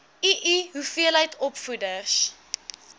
ii hoeveel opvoeders